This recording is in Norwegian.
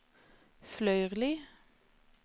Fløyrli